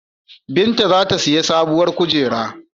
Binta za ta siyi sabuwar kujera.